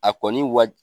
A kɔni wa